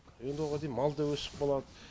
енді оған дейін мал да өсіп қалады